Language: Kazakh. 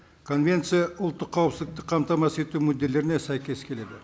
конвенция ұлттық қауіпсіздікті қамтамасыз ету мүдделеріне сәйкес келеді